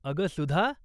अगं सुधा!